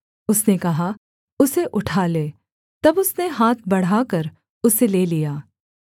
उसने कहा उसे उठा ले तब उसने हाथ बढ़ाकर उसे ले लिया